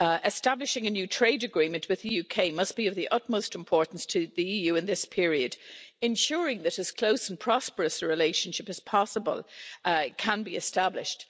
Establishing a new trade agreement with the UK must be of the utmost importance to the EU in this period, ensuring that as close and prosperous a relationship as possible can be established.